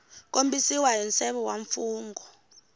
kombisiwa hi nseve wa mfungho